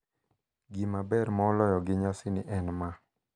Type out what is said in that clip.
Gima ber moloyo gi nyasini en ma: